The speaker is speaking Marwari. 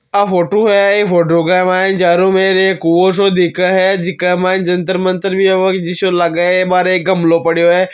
आ फोटो है इ फोटो के माय चारो मेर एक कुओ सो दिखे है जीका माय जंतर मंतर वियो जिसो लागे है बाहरे एक गमलो पड़ियो है।